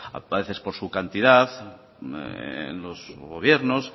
a veces por su cantidad en los gobiernos